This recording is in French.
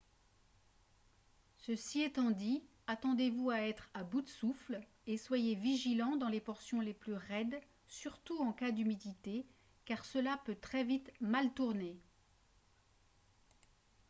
ceci étant dit attendez-vous à être à bout de souffle et soyez vigilant dans les portions les plus raides surtout en cas d'humidité car cela peut très vite mal tourner